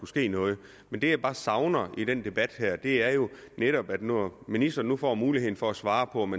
ske noget men det jeg bare savner i den debat er jo netop når ministeren nu får mulighed for at svare på om